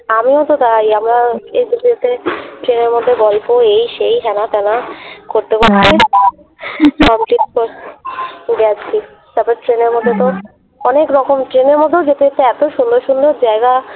আমিও তো তাই আমরা ট্রেনের মধ্যে গল্প এই সেই হেনা তেনা করতে করতে গেছি তারপরে ট্রেনের মধ্যে তো অনেক রকম ট্রেনের মধ্যেও যেতে যেতে এত সুন্দর সুন্দর জ্যায়গা।